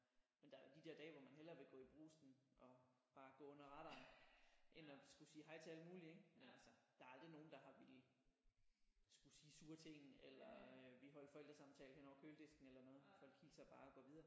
Men der er jo de der dage hvor man hellere vil gå i Brugsen og bare gå under radaren end at skulle sige hej til alle mulige ik men altså der er aldrig nogen der har villet skulle sige sure ting eller ville holde forældresamtale hen over køledisken eller noget folk hilser bare og går videre